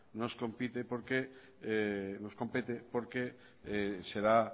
nos compete porque será